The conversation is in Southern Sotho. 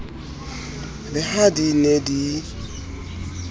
le ha di ne di